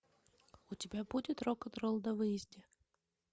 у тебя будет рок н ролл на выезде